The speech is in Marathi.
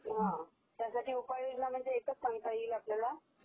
हा त्यासाठी उपाययोजना म्हणजे एकचं सांगता येईल आपल्याला